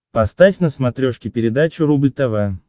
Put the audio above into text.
поставь на смотрешке передачу рубль тв